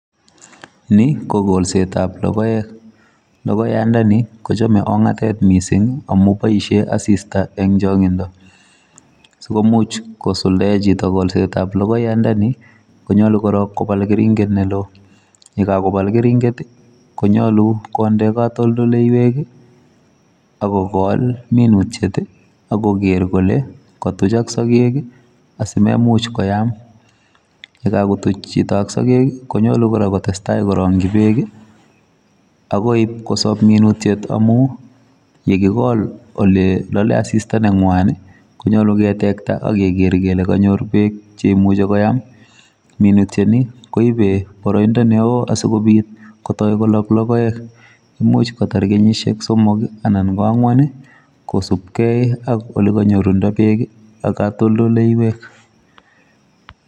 Ni ko golsetab logoek. Logoyandani, kochame ong'atet missing amu boisie asista eng' chang'indo. Sikomuch kosuldae chito kolsetab logoyandani, konyolu korok kobal keringet ne loo. Ye kakobal keringet, konyolu konde katoldoleiwek, akogol minutiet, akoger kole katuchok sagek, asimemuch koyam. Yekakotuch chito ak sagek, konyolu kora kotesetai korongchi beek, agoi ipkosob minutiet amu, yekigol ole lale asista ne ngwan, konyolu ketekta, akeger kele kanyor beek che imuchi koyam. Minutiet ni, koibe boroindo neo asikobit kotoi kolok logoek. Imuch kotar kenyishiek somok, anan ko ang'wan, kosupkey ak ole kanyorundo beek, ak katoldoleiwek.